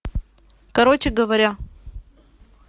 короче говоря